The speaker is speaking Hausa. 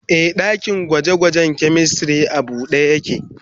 Ee, dakin gwaje-gwajen chemistry a buɗe yake.